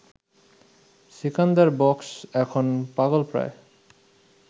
সিকান্দার বক্স এখন পাগলপ্রায়